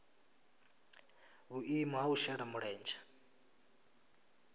vhuimo ha u shela mulenzhe